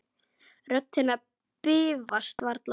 Rödd hennar bifast varla.